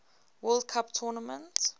world cup tournament